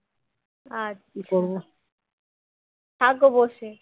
থাকো বসে